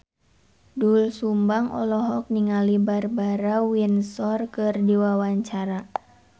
Doel Sumbang olohok ningali Barbara Windsor keur diwawancara